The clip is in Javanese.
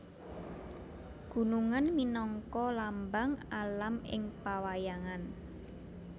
Gunungan minangka lambang alam ing pawayangan